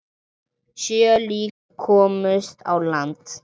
Sjö lík komust á land.